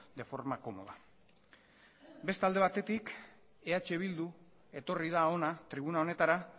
de forma cómoda beste alde batetik eh bildu etorri da hona tribuna honetara